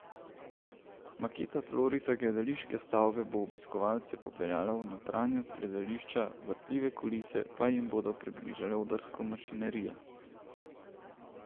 Maketa tlorisa gledališke stavbe bo obiskovalce popeljala v notranjost gledališča, vrtljive kulise pa jim bodo približale odrsko mašinerijo.